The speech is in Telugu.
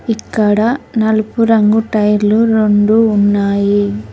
ఇక్కడ నలుపు రంగు టైర్లు రొండు ఉన్నాయి.